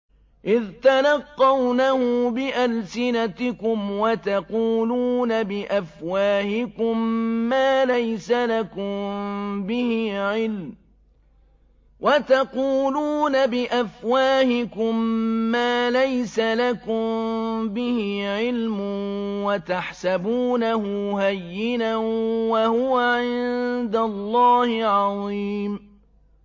إِذْ تَلَقَّوْنَهُ بِأَلْسِنَتِكُمْ وَتَقُولُونَ بِأَفْوَاهِكُم مَّا لَيْسَ لَكُم بِهِ عِلْمٌ وَتَحْسَبُونَهُ هَيِّنًا وَهُوَ عِندَ اللَّهِ عَظِيمٌ